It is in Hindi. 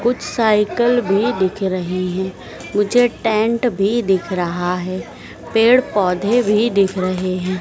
कुछ साइकल भी दिख रहे हैं मुझे टेंट भी दिख रहा है पेड़ पौधे भी देख रहे हैं।